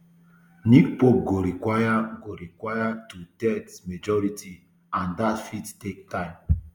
new pope go require go require twothirds majority and dat fit take time